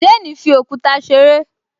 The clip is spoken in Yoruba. Jane fi òkúta ṣeré